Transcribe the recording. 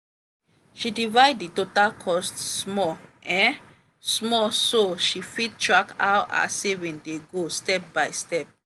she divide the total cost small um small so she fit track how her saving dey go step by step.